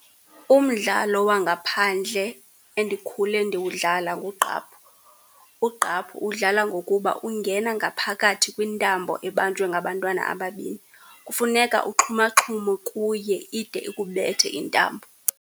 Umdlalo wangaphandle endikhule ndiwudlala ngugqaphu. Ugqaphu uwudlala ngokuba ungena ngaphakathi kwintambo ebanjwe ngabantwana ababini. Kufuneka uxhumaxhume kuye ide ikubethe intambo.